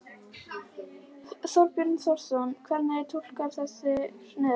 Þorbjörn Þórðarson: Hvernig túlkarðu þessar niðurstöður?